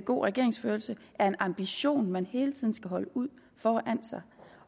god regeringsførelse er en ambition man hele tiden skal holde ud foran sig